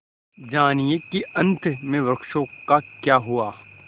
जानिए कि अंत में वृक्षों का क्या हुआ